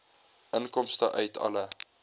inkomste uit alle